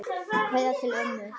Kveðja til ömmu.